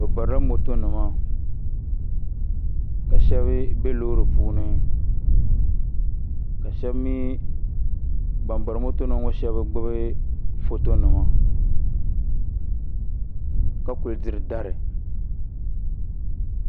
bi barila moto nima ka shab bɛ loori puuni ka ban bari moto nim ŋɔ shab gbubi foto nima ka kuli diri dari